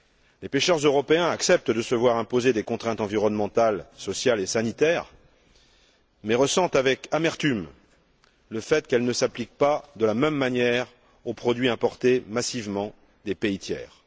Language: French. Les pêcheurs européens acceptent de se voir imposer des contraintes environnementales, sociales et sanitaires, mais ressentent avec amertume le fait qu'elles ne s'appliquent pas de la même manière aux produits importés massivement des pays tiers.